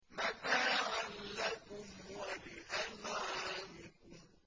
مَّتَاعًا لَّكُمْ وَلِأَنْعَامِكُمْ